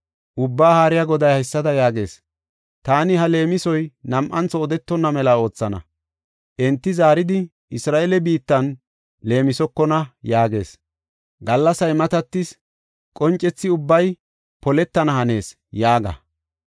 Ubbaa Haariya Goday haysada yaagees; ‘Taani ha leemisoy nam7antho odetonna mela oothana; enti zaaridi, Isra7eele biittan leemisokona’ yaagees. ‘Gallasay matatis; qoncethi ubbay poletana hanees’ yaaga.